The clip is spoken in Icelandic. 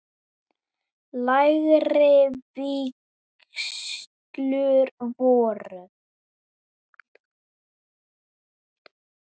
Lægri vígslur voru